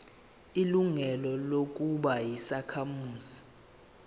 ilungelo lokuba yisakhamuzi